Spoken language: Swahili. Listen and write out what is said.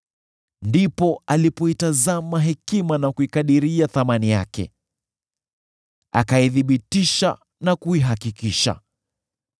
ndipo alipoitazama hekima na kuikadiria thamani yake, akaithibitisha na kuihakikisha.